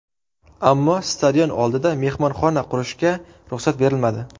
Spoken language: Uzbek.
Ammo stadion oldida mehmonxona qurishga ruxsat berilmadi.